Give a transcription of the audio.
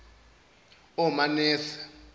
omanese